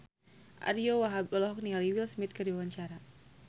Ariyo Wahab olohok ningali Will Smith keur diwawancara